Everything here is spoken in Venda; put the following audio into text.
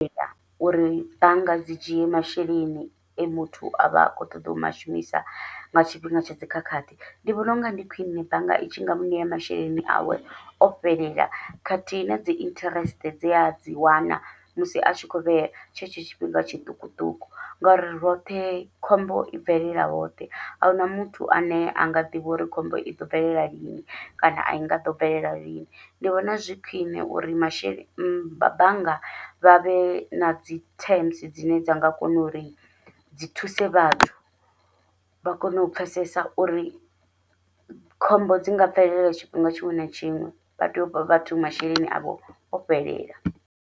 Uri bannga dzi dzhie masheleni e muthu avha a khou ṱoḓa u mashumisa nga tshifhinga tsha dzikhakhathi, ndi vhona unga ndi khwiṋe bannga i tshi nga muṋe masheleni awe o fhelela khathihi nadzi interest dze adzi wana, musi a tshi kho vhea tshe tsho tshifhinga tshiṱukuṱuku. Ngori roṱhe khombo i bvelela hoṱhe ahuna muthu ane anga ḓivha uri khombo iḓo bvelela lini kana ai nga ḓo bvelela lini, ndi vhona zwi khwiṋe uri masheleni bannga vha vhe nadzi terms dzine dza nga kona uri dzi thuse vhathu vha kone u pfhesesa uri khombo dzi nga bvelela tshifhinga tshiṅwe na tshiṅwe, vha tea u fha vhathu masheleni avho o fhelela.